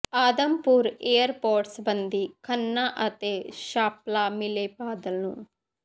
Adampur airport ਸਬੰਧੀ ਖੰਨਾ ਅਤੇ ਸਾਂਪਲਾ ਮਿਲੇ ਬਾਦਲ ਨੂੰ